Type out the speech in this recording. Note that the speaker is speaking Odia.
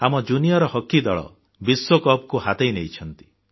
ଆମ ଜୁନିୟର ହକି ଦଳ ବିଶ୍ୱକପକୁ ହାତେଇ ନେଇଛନ୍ତି